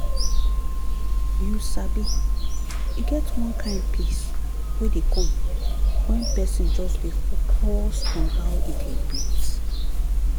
you sabi e get one kind peace wey dey come when person just dey focus on how e dey breathe